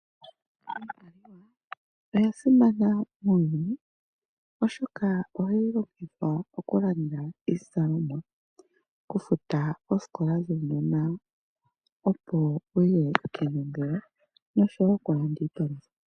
Iimaliwa oyasimana uunene oshoka ohayi longithwa okulanda iizalomwa, okufuta oosikola dhuunona opo wuye kenongelo nosho wo okulanda iipalutha.